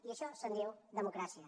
i d’això se’n diu democràcia